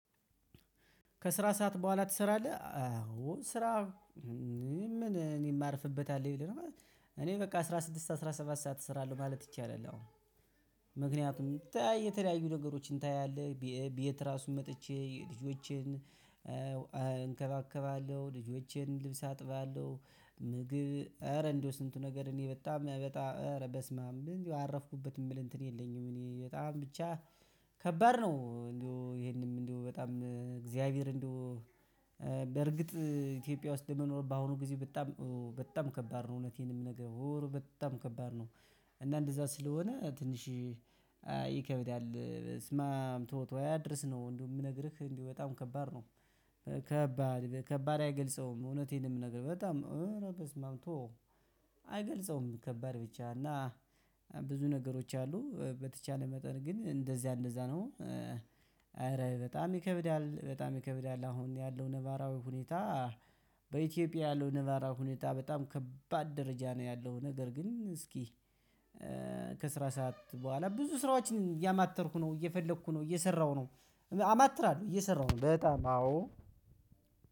ከስራ ሰዓት በኋላ ትሰራለህ? አዎ ስራ ምን እኔ የማርፍበት አለን ብለህ ነው። እኔ በቃ አስራ ስድስት አስራ ሰባት ሰዓት እሰራለሁ ማለት ይቻላል አሁን። ምክንያቱም የተለያዩ ነገሮችን ታያለህ። ቤት ራሱ መጥቼ ልጆችን እንከባከባለሁ። ልጆችን ልብስ አጥባለሁ። ምግብ ኧረ እንደው ስንቱ ነገር እኔ በጣም በጣም አረ በስማም ምንም አረፍኩበት የምል እንትን የለኝም እኔ በጣም ብቻ ከባድ ነው እንደው ይሄንንም እንደው በጣም እግዚአብሔር እንደው በርግጥ ኢትዮጵያ ውስጥ ለመኖር በአሁኑ ጊዜ በጣም በጣም ከባድ ነው እውነቴን ነው ምነገርህ በጣም ከባድ ነው። እና እንደዛ ስለሆነ ትንሽ ይከበዳል። በስማም ትወው ትወው አያድርስ ነው። እንደው የምነግርህ እንዲህ በጣም ከባድ ነው። ከባድ ከባድ አይገልጸውም እውነቴን የምነግርህ በጣም እረ በስማም ተወው አይገልጸውም ከባድ ብቻ እና ብዙ ነገሮች አሉ። በተቻለ መጠን ግን እንደዚያ እንደዛ ነው አረ በጣም ይከብዳል በጣም ይከብዳል። አሁን ያለው ነባራዊ ሁኔታ በኢትዮጵያ ያለው ነባራዊ ሁኔታ በጣም ከባድ ደረጃ ነው ያለው። ነገር ግን እስኪ ከስራ ሰዓት በኋላ ብዙ ስራዎችን እያማተርኩ ነው፤ እየፈለኩ ነው፤ እየሰራሁ ነው አማትራለሁ እየሰራሁ ነው በጣም አዎ